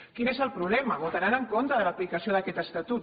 quin és el problema votaran en contra de l’aplicació d’aquest estatut